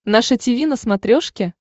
наше тиви на смотрешке